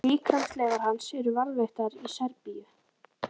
Líkamsleifar hans eru varðveittar í Serbíu.